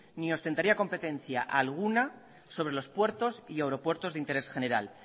ni ostentaría competencia alguna sobre los puertos y aeropuertos de interés general